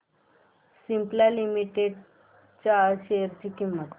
Cipla limited च्या share ची किंमत